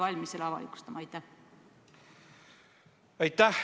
Aitäh!